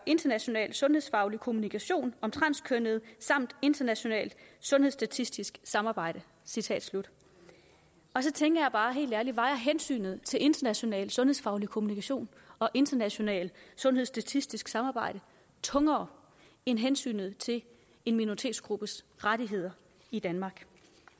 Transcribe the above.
international sundhedsfaglig kommunikation om transkønnede samt internationalt sundhedsstatistisk samarbejde citat slut så tænker jeg bare helt ærligt vejer hensynet til international sundhedsfaglig kommunikation og internationalt sundhedstatistisk samarbejde tungere end hensynet til en minoritetsgruppes rettigheder i danmark